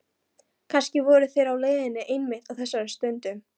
Kannski voru þeir á leiðinni einmitt á þessari stundu.